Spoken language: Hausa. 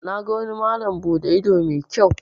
Na ga wani malam bude ido mai kyau.